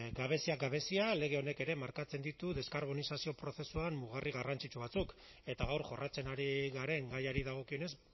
gabeziak gabezia lege honek ere markatzen ditu deskarbonizazio prozesuan mugarri garrantzitsu batzuk eta gaur jorratzen ari garen gaiari dagokionez